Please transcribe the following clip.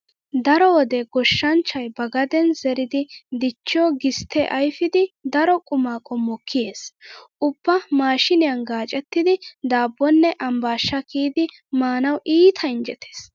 Daro wode goshshanchchay ba gadeen zeridi dichchiyo gisttee ayfidi daro quma qommo kiyees. Ubba maashiiniyan gaacettidi daabbonne ambbaasha kiyidi maanawu iita injjetees.